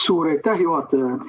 Suur aitäh, juhataja!